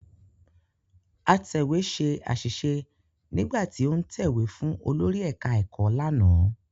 Atẹ̀wé ṣe àṣìṣe nígbà tí ó ń tẹ̀wé fún olórí ẹ̀ká ẹ̀kọ́ lánàá